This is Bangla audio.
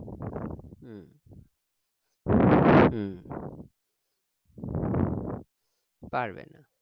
হম হম পারবে না